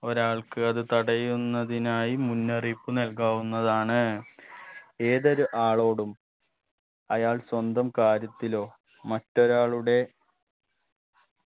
ഒരാൾക്ക് അത് തടയുന്നതിനായി മുന്നറിയിപ്പ് നൽകാവുന്നതാണ് ഏതൊരു ആളോടും അയാൾ സ്വന്തം കാര്യത്തിലോ മറ്റൊരാളുടെ